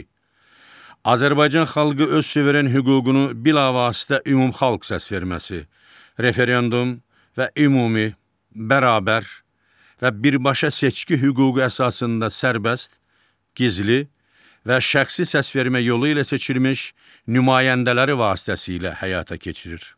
İki, Azərbaycan xalqı öz suveren hüququnu bilavasitə ümumxalq səsverməsi, referendum və ümumi, bərabər və birbaşa seçki hüququ əsasında sərbəst, gizli və şəxsi səsvermə yolu ilə seçilmiş nümayəndələri vasitəsilə həyata keçirir.